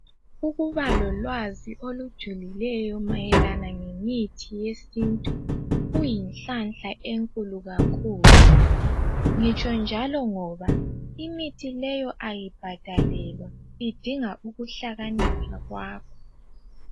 Ukuba lolwazi olujulileyo mayelana ngemithi yesintu, kuyinhlanhla enkulu kakhulu. Ngitsho njalo ngoba, imithi leyo ayibhadalelwa. Idinga ukuhlakanipha kwakho.